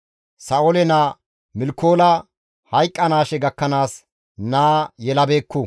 Sa7oole naa Milkoola hayqqanaashe gakkanaas naa yelabeekku.